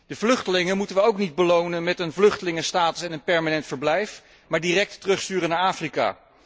De vluchtelingen moeten we ook niet belonen met een vluchtelingenstatus en een permanent verblijf, maar direct terugsturen naar Afrika.